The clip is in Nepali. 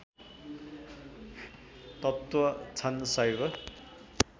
तत्त्व छन् शैव